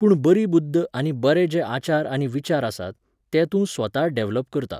पूण बरी बुद्द आनी बरे जे आचार आनी विचार आसात, ते तूं स्वता डॅव्हलप करता.